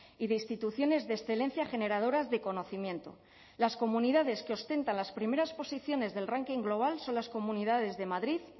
y de instituciones de excelencia generadoras de conocimiento las comunidades que ostentan las primeras posiciones del ranking global son las comunidades de madrid